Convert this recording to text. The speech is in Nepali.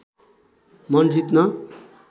मन जित्न